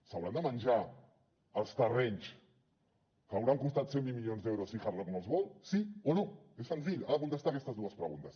s’hauran de menjar els terrenys que hauran costat cent i vint milions d’euros si hard rock no els vol sí o no és senzill ha de contestar aquestes dues preguntes